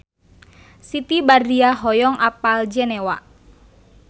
Siti Badriah hoyong apal Jenewa